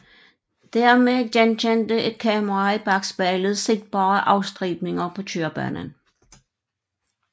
Dermed genkendte et kamera i bakspejlet sigtbare afstribninger på kørebanen